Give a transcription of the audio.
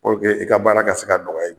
puruke e ka baara ka se ka nɔgɔya i ma